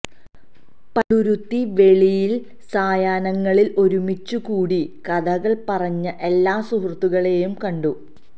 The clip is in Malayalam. പള്ളുരുത്തി വെളിയിൽ സായാഹ്നങ്ങളിൽ ഒരുമിച്ചു കൂടി കഥകൾ പറഞ്ഞ എല്ലാ സുഹൃത്തുക്കളെയും കണ്ടു